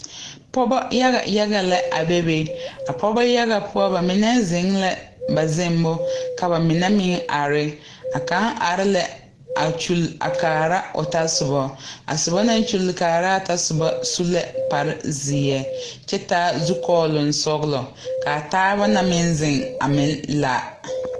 Pɔgɔvyaga yaga lɛ a bebe a pɔɔbɔ yaga poɔ ba mine zeŋ lɛ ba zeŋmo ka ba mine meŋ are a kaŋ are lɛ a kyule kaara o tasobɔ a sobɔ naŋ kyule kaaraa tasobɔ su lɛ kpare zeɛ kyɛ taa Zukɔɔloŋ sɔglɔ kaa taaba na meŋ zeŋ a meŋ la.